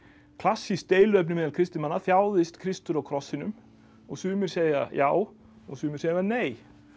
klassískt deiluefni meðal kristinna manna þjáðist Kristur á krossinum og sumir segja já og sumir segja nei